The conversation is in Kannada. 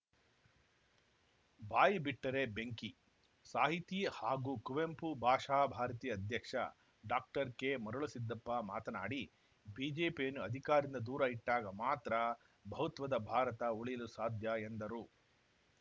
ಬಾಯಿ ಬಿಟ್ಟರೆ ಬೆಂಕಿ ಸಾಹಿತಿ ಹಾಗೂ ಕುವೆಂಪು ಭಾಷಾ ಭಾರತಿ ಅಧ್ಯಕ್ಷ ಡಾಕ್ಟರ್ ಕೆ ಮರುಳುಸಿದ್ದಪ್ಪ ಮಾತನಾಡಿ ಬಿಜೆಪಿಯನ್ನು ಅಧಿಕಾರದಿಂದ ದೂರ ಇಟ್ಟಾಗ ಮಾತ್ರ ಬಹುತ್ವದ ಭಾರತ ಉಳಿಯಲು ಸಾಧ್ಯ ಎಂದರು